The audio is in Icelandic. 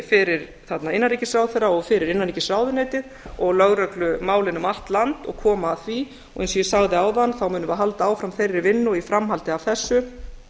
fyrir innanríkisráðherra og fyrir innanríkisráðuneytið og lögreglumálin um allt land og koma að því og eins og ég sagði áðan munum við halda áfram þeirri vinnu og í framhaldi af þessu